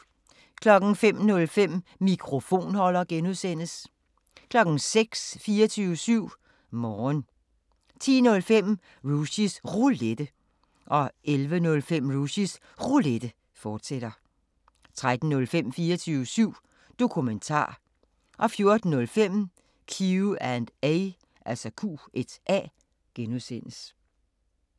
05:05: Mikrofonholder (G) 06:00: 24syv Morgen 10:05: Rushys Roulette 11:05: Rushys Roulette, fortsat 13:05: 24syv Dokumentar 14:05: Q&A (G)